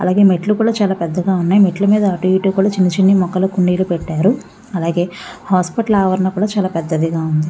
అలాగే మెట్లు కూడా చాలా పెద్దగా ఉన్నాయి. మెట్ల మీద అటు ఇటు కూడా చిన్నచిన్న మొక్కలు కుండీలు పెట్టారు. అలాగే హాస్పటల్ ఆవరణం కూడా చాలా పెద్దదిగా ఉంది.